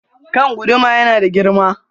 Kan guduma ya nada girma.